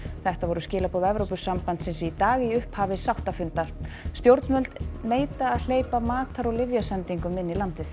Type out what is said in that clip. þetta voru skilaboð Evrópusambandsins í dag í upphafi sáttafundar stjórnvöld neita að hleypa matar og lyfjasendingum inn í landið